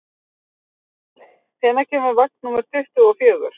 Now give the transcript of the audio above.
Guðleif, hvenær kemur vagn númer tuttugu og fjögur?